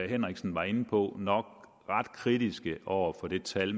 henriksen var inde på nok ret kritiske over for det tal